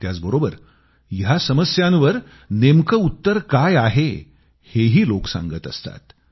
त्याचबरोबर या समस्यांवर नेमके उत्तर काय आहे हेही लोक सांगत असतात